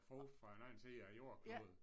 Frugt fra en anden side a æ jordklode